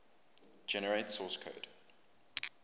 generate source code